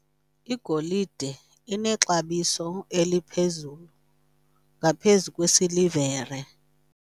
Igolide inexabiso eliphezulu ngaphezu kwesilivere.